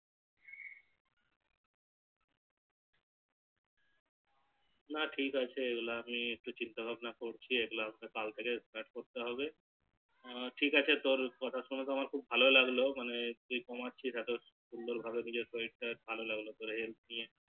না ঠিক আছে এগুলো আমি একটু চিন্তা ভাবনা করছি এগুলো আমাকে কাল থেকে Start করতে হবে টিকআছে তোর কথা শুনে আমার খুব ভালো লাগলো মানে তুই কমাচ্ছিস এত সুন্দর ভাবে নিজের শরীর টা ভালো লাগলো